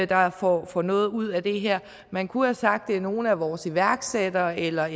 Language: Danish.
der får får noget ud af det her man kunne have sagt det er nogle af vores iværksættere eller